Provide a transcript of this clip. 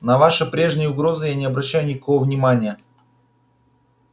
на ваши прежние угрозы я не обращаю никакого внимания